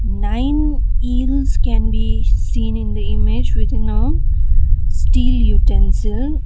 nine eels can be seen in the image within a steel utensil.